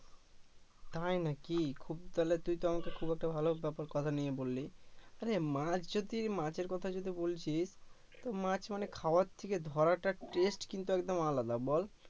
তাই নাকি খুব তাহলে তুই তো আমাকে খুব একটা ভালো ব্যাপার কথা নিয়ে বললি আরে মাছ যদি মাছের কথা যদি বলছি তো মাছ মানে খাওয়ার থেকে ধরা টা test কিন্তু একদম আলাদা বল